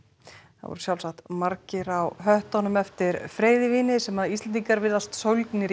það voru sjálfsagt margir á höttunum eftir freyðivíni sem Íslendingar virðast sólgnir